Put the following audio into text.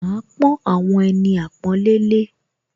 Màá pọ́n àwọn ẹni àpọ́nlé lé